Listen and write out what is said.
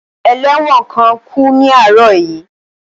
Ẹlẹ́wọ̀n kan kú ní àárọ̀ yìí